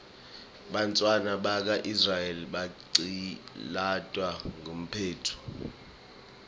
bantfwana baka israel baqcilatwa eqibhitue